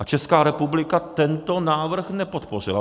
A Česká republika tento návrh nepodpořila.